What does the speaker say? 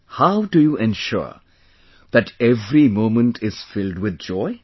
How do you ensure that every moment is filled with joy